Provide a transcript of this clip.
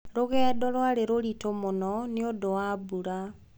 Rũgendo rwarĩ rũritũ mũno nĩ ũndũ wa mbura.